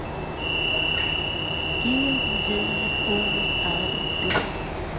G J O R D